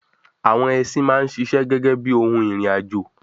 àwọn ẹsin máa ń sisẹ́ gẹ́gẹ́ bíi ohun ìrìn àjò